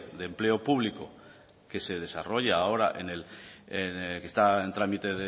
de empleo público que se desarrolla ahora que está en trámite